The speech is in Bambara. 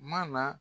Ma na